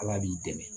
Ala b'i dɛmɛ